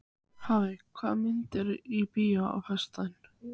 Hafey, hvaða myndir eru í bíó á föstudaginn?